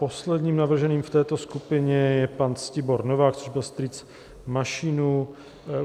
Posledním navrženým v této skupině je pan Ctibor Novák, což byl strýc Mašínů.